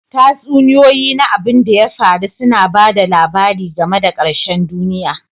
Tatsuniyoyi na abin da ya faru suna ba da labari game da ƙarshen duniya.